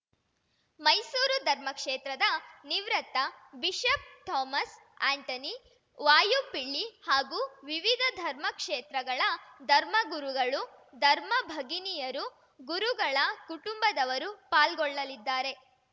ಮೈಸೂರು ಧರ್ಮಕ್ಷೇತ್ರದ ನಿವೃತ್ತ bishop Thomas Antony Vazhapilly ಹಾಗೂ ವಿವಿಧ ಧರ್ಮ ಕ್ಷೇತ್ರಗಳ ಧರ್ಮಗುರುಗಳು ಧರ್ಮ ಭಗಿನಿಯರು ಗುರುಗಳ ಕುಟುಂಬದವರು ಪಾಲ್ಗೊಳ್ಳಲಿದ್ದಾರೆ